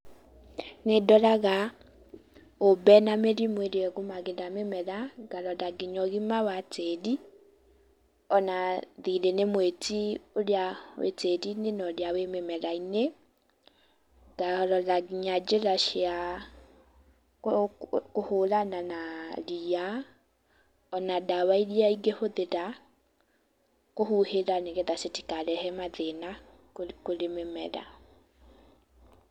Nĩ ndoraga ũmbe na mĩrimũ ĩrĩa ĩgũmagĩra mĩmera, ngarora nginya ũgima wa tĩĩri,o na thirĩ nĩ mwĩti ũrĩa wĩ tĩĩri-inĩ na ũrĩa wĩ mũmera-inĩ, ngarora nginya njĩra cia kũhũrana na ria,o na ndawa iria ingĩhũthĩra kũhuhĩra nĩ getha citikarehe mathĩna kũrĩ mĩmera.